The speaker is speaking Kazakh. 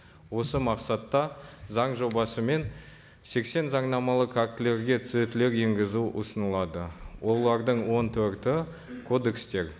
осы мақсатта заң жобасы мен сексен заңнамалық актілерге түзетулер енгізу ұсынылады олардың он төрті кодекстер